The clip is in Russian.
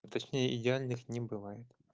точнее я в них не бывает